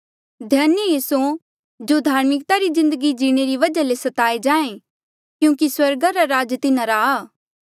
धन्य ऐें स्यों जो धार्मिकता री जिन्दगी जीणे री वजहा ले स्ताए जाहें क्यूंकि स्वर्गा रा राज तिन्हारा आ